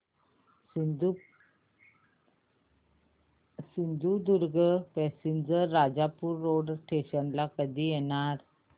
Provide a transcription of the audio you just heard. Sindhudurg passenger Rajapur road station ला कधी येणार